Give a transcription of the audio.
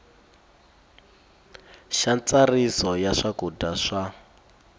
xa ntsariso ya swakudya swa